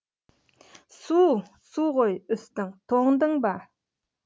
су су ғой үстің тоңдың ба